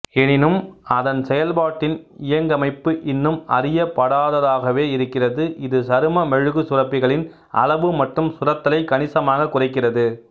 எனினும் அதன் செயல்பாட்டின் இயங்கமைப்பு இன்னும் அறியப்படாததாகவே இருக்கிறது இது சரும மெழுகுச்சுரப்பிகளின் அளவு மற்றும் சுரத்தலைக் கணிசமாகக் குறைக்கிறது